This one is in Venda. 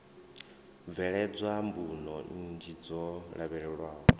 bveledzwa mbuno nnzhi dzo lavhelelwaho